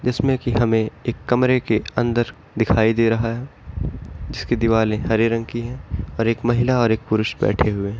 जिसमे की हमें एक कमरे के अंदर दिखाई दे रहा है जिसकी दीवालें हरे रंग की है और एक महिला और एक पुरुष बैठे हुए हैं ।